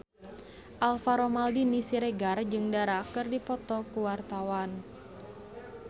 Alvaro Maldini Siregar jeung Dara keur dipoto ku wartawan